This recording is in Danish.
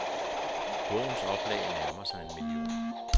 Bogens oplag nærmer sig en million.